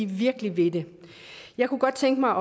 virkelig vil det jeg kunne godt tænke mig